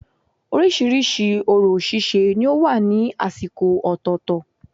Orísirísi orò síse ni ó wà ní àsìkò ọ̀tọ̀ọ̀tọ̀